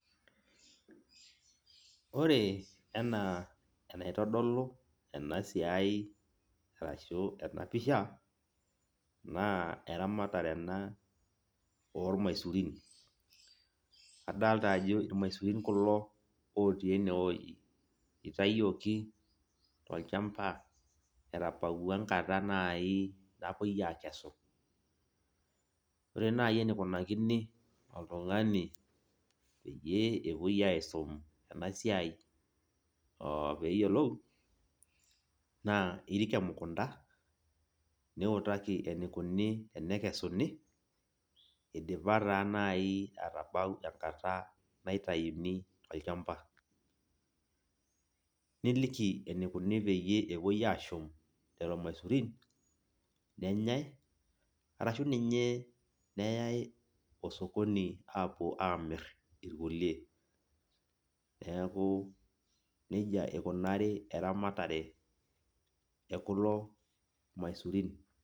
Ore enaa enaitodolu enasiai arashu enapisha, naa eramatare ena ormaisurin. Adalta ajo irmaisurin kulo otii enewoi. Itayioki tolchamba, etabaua enkata nai napoi akesu. Ore nai enikunakini oltung'ani peyie epoi aisum enasiai opeyiolou, naa irik emukunda, niutaki enikuni enekesuni, idipa taa nai atabau enkata naitayuni tolchamba. Niliki enikuni peyie epoi ashum lelo maisurin, nenyai, arashu ninye neyai osokoni apuo amir irkulie. Neeku nejia ikunari eramatare ekulo maisurin.